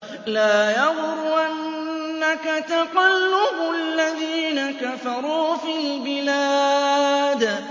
لَا يَغُرَّنَّكَ تَقَلُّبُ الَّذِينَ كَفَرُوا فِي الْبِلَادِ